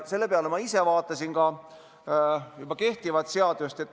Selle peale vaatasin ma praegu kehtivat seadust.